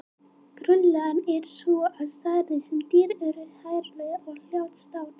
Grunnreglan er sú að því stærri sem dýr eru því hægari er hjartslátturinn.